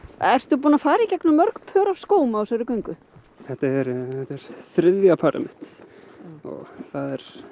ertu búinn að fara í gegnum mörg pör af skóm á þessari göngu þetta er þriðja parið mitt og það